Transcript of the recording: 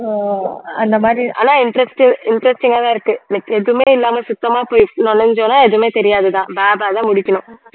அஹ் அந்த மாதிரி ஆனா interest~ interesting ஆ தான் இருக்கு like எதுவுமே இல்லாம சுத்தமா போய் நுழைஞ்சோம்ன்னா எதுவுமே தெரியாதுதான் பே பே தான் முழிக்கணும்